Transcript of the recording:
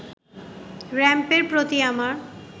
র‌্যাম্পের প্রতি আমার